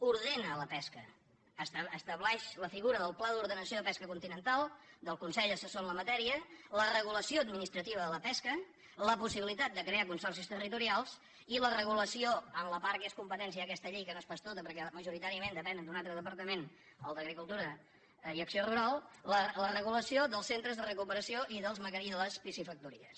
ordena la pesca estableix la figura del pla d’ordenació de pesca continental del consell assessor en la matèria la regulació administrativa de la pesca la possibilitat de crear consorcis territorials i la regulació en la part que és competència d’aquesta llei que no és pas tota perquè majoritàriament depenen d’un altre departament el d’agricultura i acció rural la regulació dels centres de recuperació i les piscifactories